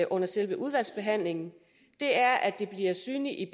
under selve udvalgsbehandlingen er at det bliver synligt i